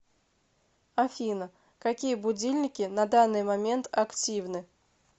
афина какие будильники на данный момент активны